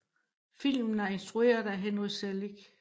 Filmen er instruret af Henry Selick